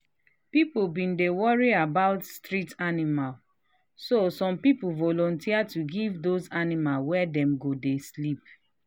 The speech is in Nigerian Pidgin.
people been dey worry about street animals so some people volunteers to give those animals where dem go dey sleep.